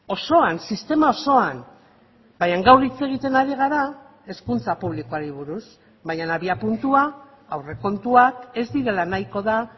osoan sistema osoan baina gaur hitz egiten ari gara hezkuntza publikoari buruz baina abiapuntua aurrekontuak ez direla nahiko da